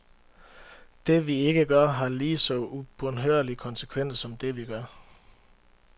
Det, vi ikke gør, har lige så ubønhørlige konsekvenser som det, vi gør.